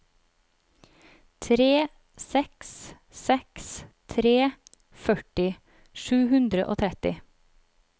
tre seks seks tre førti sju hundre og tretti